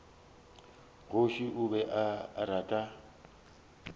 kgoši o be a rata